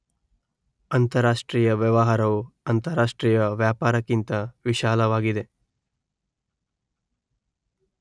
ಅಂತರಾಷ್ಟ್ರೀಯ ವ್ಯವಹಾರವು ಅಂತರಾಷ್ಟ್ರೀಯ ವ್ಯಾಪಾರಕ್ಕಿಂತ ವಿಶಾಲವಾಗಿದೆ